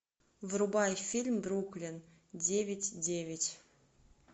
врубай фильм бруклин девять девять